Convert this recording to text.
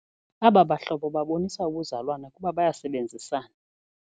Aba bahlobo babonisa ubuzalwane kuba bayasebenzisana.